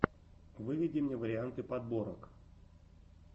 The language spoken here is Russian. выведи мне варианты подборок